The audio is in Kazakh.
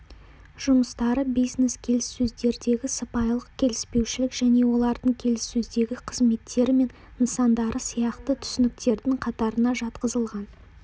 жұмыстары бизнес-келіссөздердегі сыпайылық келіспеушілік және олардың келіссөздегі қызметтері мен нысандары сияқты түсініктердің қатарына жатқызылған